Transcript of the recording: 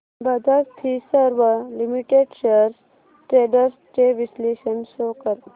Bajaj Finserv limited shares trends चे विश्लेषण show कर